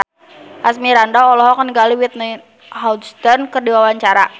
Asmirandah olohok ningali Whitney Houston keur diwawancara